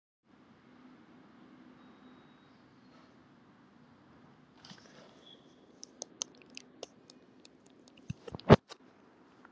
Ég er ágætur í borðtennis.